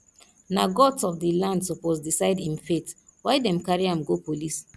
na gods of di land suppose decide im fate why dem carry am go police